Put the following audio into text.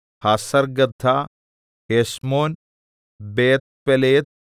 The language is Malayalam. Hazar gaddah Heshmon Beth pelet